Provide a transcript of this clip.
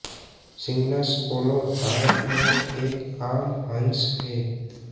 Cygnus olor Bharat में एक आम हंस है